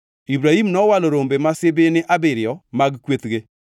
Ibrahim nowalo rombe ma sibini abiriyo mag kwethge,